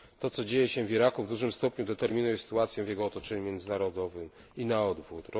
To, co dzieje się w Iraku, w dużym stopniu determinuje sytuację w jego otoczeniu międzynarodowym i na odwrót.